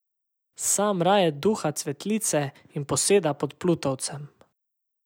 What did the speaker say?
Sam raje duha cvetlice in poseda pod plutovcem.